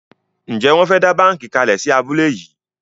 Njé Won fè dá bánkì kalè sí abúlé yí?